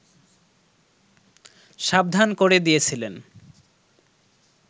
সাবধান করে দিয়েছিলেন